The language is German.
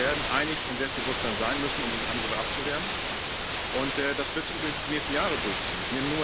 Wir werden einig und selbstbewusst sein müssen, um diese Angriffe abzuwehren, und das wird sich übrigens die nächsten Jahre durchziehen.